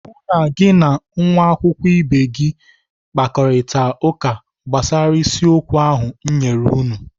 Hụụ na gị na nwa akwụkwọ ibe gị kparita ụka gbasara isiokwu a ahụ m nyere unu!